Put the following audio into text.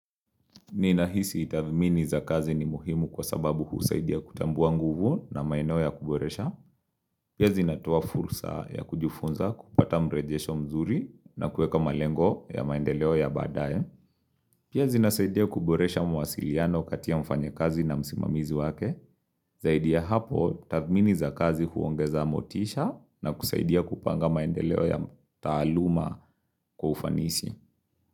Ni nahisi itavimini za kazi ni muhimu kwa sababu husaidia kutambua nguvu na maeno ya kuboresha. Pia zinatoa fursa ya kujifunza kupata mrejesho mzuri na kueka malengo ya maendeleo ya badaye. Pia zinasaidia kuboresha mawasiliano katia mfanyakazi na msimamizi wake. Zaidi ya hapo u tathmini za kazi huongeza motisha na kusaidia kupanga maendeleo ya taaluma kwa ufanisi.